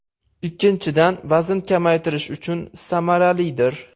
Ikkinchidan, vazn kamaytirish uchun samaralidir.